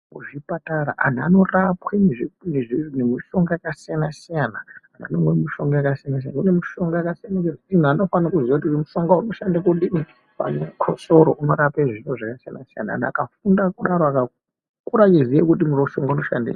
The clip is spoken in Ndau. Kuzvipatara antu anorapwa ngemishonga yakasiyana-siyana. Anomwa mishonga yakasiyana-siyana. Kune mishonga yakasiyana ngekuti muntu unofanira kuziya kuti mushonga unoshanda kudini pamwe chikosoro unorapa zvifo zvakasiyana-siyana. Antu akafunda kudaro akakura echiziya kuti uyu mushonga unoshandei.